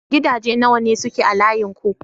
Gidaje nawa ne suke a layin ku?